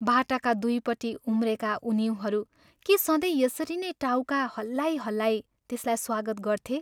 बाटाका दुइपट्टि उम्रेका उनिउँहरू के सधैं यसरी नै टाउका हल्लाई हल्लाई त्यसलाई स्वागत गर्थे?